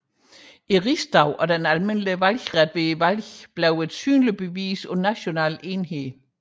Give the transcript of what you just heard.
Rigsdagen og den almindelige valgret ved valgene blev til et synligt bevis på national enhed